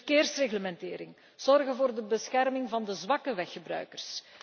Verkeersreglementering, zorgen voor de bescherming van de zwakke weggebruikers.